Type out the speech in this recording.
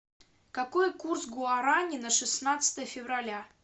какой курс гуарани на шестнадцатое февраля